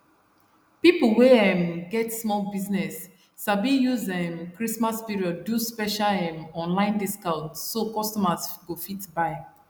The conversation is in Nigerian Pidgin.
pipo wey um get small business sabi use um christmas period do special um online discount so customers go fit buy